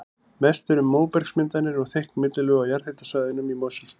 Mest er um móbergsmyndanir og þykk millilög á jarðhitasvæðunum í Mosfellsbæ.